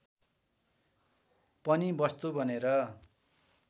पनि वस्तु बनेर